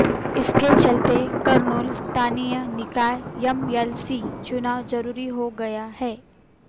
इसके चलते कर्नूल स्थानीय निकाय एमएलसी चुनाव जरूरी हो गया है